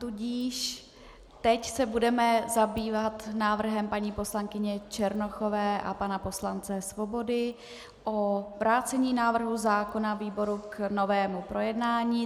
Tudíž teď se budeme zabývat návrhem paní poslankyně Černochové a pana poslance Svobody na vrácení návrhu zákona výboru k novému projednání.